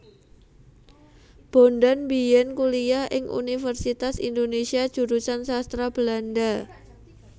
Bondan biyen kuliah ing Universitas Indonesia Jurusan Sastra Belanda